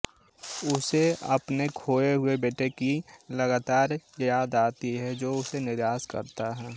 उसे अपने खोए हुए बेटे की लगातार याद आती है जो उसे निराश करता है